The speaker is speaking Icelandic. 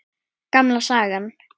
Gamla sagan.